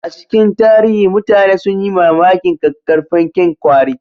A cikin tarihi, mutane sun yi mamakin ƙaƙƙarfan kyan kwari